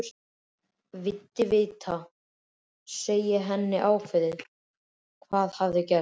Vildi vita, segi ég henni ákveðið, hvað hafði gerst.